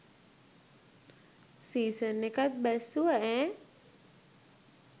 Season එකත් බැස්සුවා ඈ.